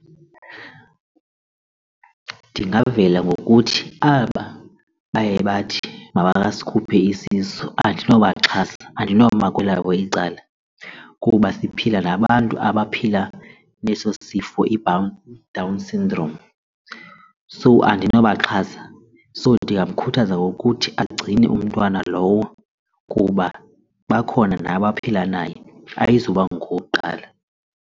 Ndingavela ngokuthi aba baye bathi makasikhuphe isisu andinobaxhasa andinoma kwelabo icala kuba siphila nabantu abaphila neso sifo iDown syndrome. So andinobaxhasa, so ndingamkhuthaza ngokuthi agcine umntwana lowo kuba bakhona nabaphila naye ayizuba ngowokuqala.